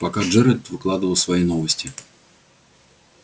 пока джералд выкладывал свои новости